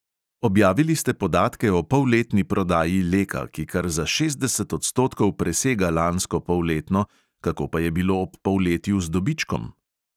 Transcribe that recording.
Objavili ste podatke o polletni prodaji leka, ki kar za šestdeset odstotkov presega lansko polletno, kako pa je bilo ob polletju z dobičkom?